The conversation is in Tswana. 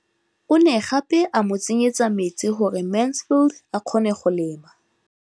O ne gape a mo tsenyetsa metsi gore Mansfield a kgone go lema.